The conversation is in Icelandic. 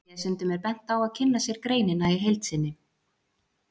Lesendum er bent á að kynna sér greinina í heild sinni.